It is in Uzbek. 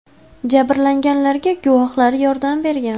Jabrlanganlarga guvohlar yordam bergan.